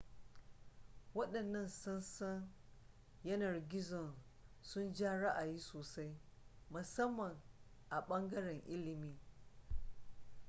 waɗannan sassan yanar gizon sun ja ra'ayi sosai musamman a ɓangaren ilimi